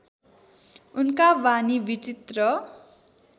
उनका वाणी विचित्र